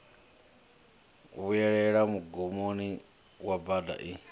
vhuelela mugumoni wa bada i